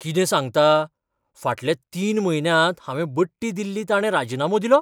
कितें सांगता? फाटल्या तीन म्हयन्यांत हांवें बडटी दिल्ली ताणे राजिनामो दिलो?